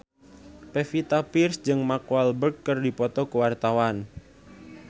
Pevita Pearce jeung Mark Walberg keur dipoto ku wartawan